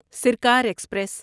سرکار ایکسپریس